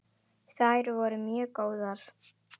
Þær væru mjög góðar.